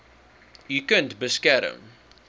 u kind beskerm